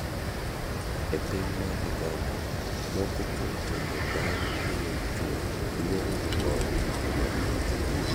E piny mar Uganda moko kuom timbe dhano miyo chuo duong' moloyo joma mine.